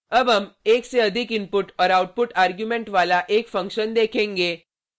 अब हम एक से अधिक इनपुट और आउटपुट आर्ग्युमेंट वाला एक फंक्शन देखेंगे